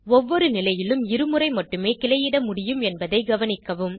ஒவ்வொரு நிலையிலும் இருமுறை மட்டுமே கிளையிட முடியும் என்பதை கவனிக்கவும்